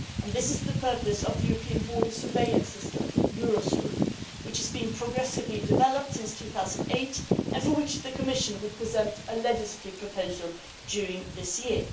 This is the purpose of the European border surveillance system which has been progressively developed since 2008, and for which the Commission will present a legislative proposal during this year.